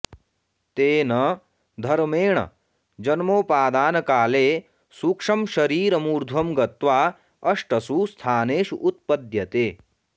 तेन धर्मेण जन्मोपादानकाले सूक्ष्मशरीरमूर्ध्वं गत्वा अष्टसु स्थानेषु उत्पद्यते